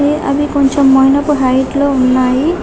అవి కొంచెం medium height లో ఉన్నాయి